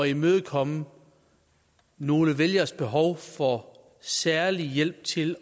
imødekomme nogle vælgeres behov for særlig hjælp til